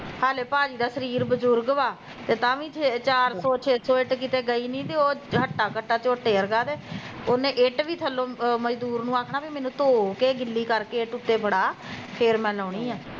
ਹਲੇ ਭਾਜੀ ਦਾ ਸਰੀਰ ਬਜ਼ੁਰਗ ਵਾ, ਤਾਂ ਵੀ ਛੇ ਚਾਰ ਸੋ ਛੇ ਸੋ ਇੱਟ ਕਿਤੇ ਗਈ ਨੀ ਤੇ ਉਹ ਹੱਟਾ ਕੱਟਾ ਝੋਟੇ ਵਰਗਾ ਤੇ ਉਹਨੇ ਇੱਟ ਵੀ ਥੱਲੋ ਮਜਦੂਰ ਨੂੰ ਆਖਣਾ ਵੀ ਮੈਨੂੰ ਧੋ ਕੇ ਗਿੱਲੀ ਕਰਕੇ ਇੱਟ ਉੱਤੇ ਫੜਾ ਫੇਰ ਮੈਂ ਲਾਉਣੀ ਆ